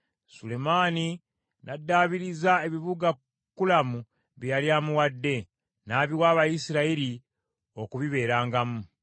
Sulemaani n’addaabiriza ebibuga Kulamu bye yali amuwadde, n’abiwa Abayisirayiri okubibeerangamu.